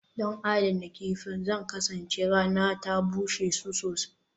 Don adana kifin, Zan kasance rana ta bushe su gobe